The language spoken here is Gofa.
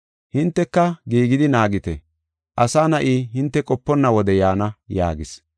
Hinteka giigidi naagite; Asa Na7i hinte qoponna wode yaana” yaagis.